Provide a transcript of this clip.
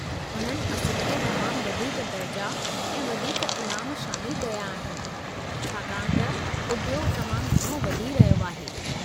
उन्हनि असुलु में तमामु वधीक दर्जा ऐं वधीक इनाम शामिलु कया आहिनि छाकाणि त उद्योग तमामु घणो वधी रहियो आहे।